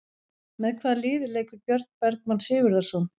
Með hvaða liði leikur Björn Bergmann Sigurðarson?